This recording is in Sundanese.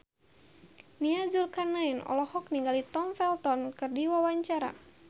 Nia Zulkarnaen olohok ningali Tom Felton keur diwawancara